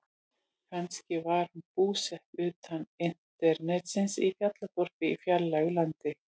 Kannski var hún búsett utan internetsins, í fjallaþorpi í fjarlægu landi.